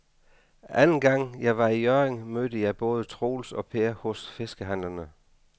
Anden gang jeg var i Hjørring, mødte jeg både Troels og Per hos fiskehandlerne.